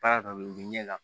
Baara dɔ bɛ ye u bɛ ɲɛ la